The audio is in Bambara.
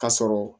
Ka sɔrɔ